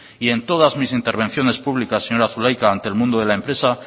y en todas mis intervenciones públicas señora zulaika ante el mundo de la empresa